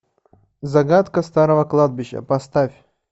загадка старого кладбища поставь